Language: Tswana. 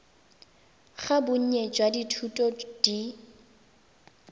ga bonnye jwa dithuto di